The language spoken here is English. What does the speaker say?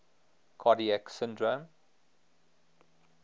cardiac syndrome